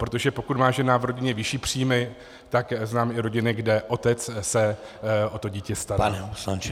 Protože pokud má žena v rodině vyšší příjmy, tak znám i rodiny, kde otec se o to dítě stará.